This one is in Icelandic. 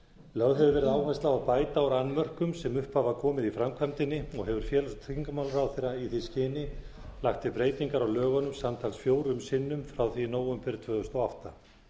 lögð hefur verið áhersla á að bæta úr annmörkum sem upp hafa komið í framkvæmdinni og hefur félags og tryggingamálaráðherra í því skyni lagt til breytingar á lögunum samtals fjórum sinnum áfram því í nóvember tvö þúsund og átta